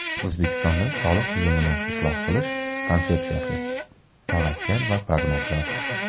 O‘zbekistonda soliq tizimini isloh qilish konsepsiyasi: tavakkal va prognozlar.